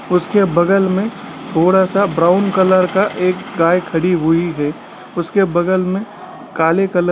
उसके बगल में थोड़ा-सा ब्रॉउन कलर का एक गाय खड़ी हुई है उसके बगल में काले कलर --